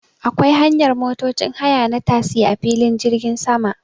Akwai hanyar motocin haya na tasi a filin jirgin sama